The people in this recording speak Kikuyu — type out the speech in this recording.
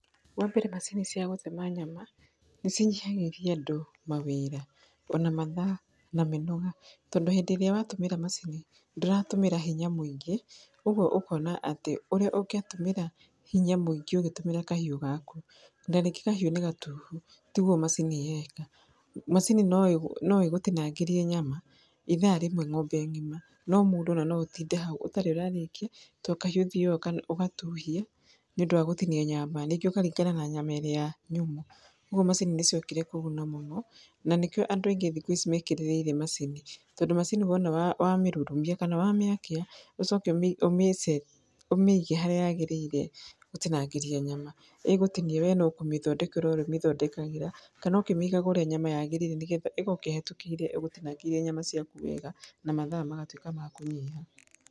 Wa mbere macini cia gũtema nyama nĩ cinyihagĩria andũ mawĩra ona mathaa na mĩnoga tondũ hindĩ ĩrĩa watũmĩra macini ndũratũmĩra hinya mũingĩ ũguo ũkona atĩ ũrĩa ũngĩatũmĩra hinya mũingĩ ũgĩtũmĩra kahiũ gaku na rĩngĩ kahiũ nĩ gatuhu tiguo macini yeka. Macini no ĩgũtinangĩrie nyama ĩthaa rĩmwe ng'ombe ngĩma no mũndũ ona no ũtinde hau ũtarĩ ũrarĩkia to kahiũ ũthiyaga ũgatuhia nĩ ũndũ wa gũtinia nyama, rĩngĩ ũgacemania na nyama ĩrĩa nyamũ, koguo macini nĩ ciokire kũguna mũno na nĩ kĩo andũ aingĩ thĩkũ ici mekĩrĩrĩire macini tondũ macini wona wamĩrurumia kana wamĩakia ũcoke ũmĩcete ũmĩige harĩa yagĩrĩire gũtingangĩria nyama ĩgũtinia we no kũmĩthondekera ũrĩ mĩthondekagĩra kana ũkĩmĩigaga ũrĩa nyama yagĩrĩire nĩgetha ĩgoka ĩhĩtũkĩire ĩgũtinangĩirie nyama ciaku wega na mathaa magatuĩka makũnyiha.